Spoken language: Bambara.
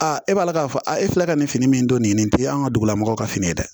e b'a la k'a fɔ a e filɛ ka nin fini min don nin tɛ an ka dugulamɔgɔw ka fini ye dɛ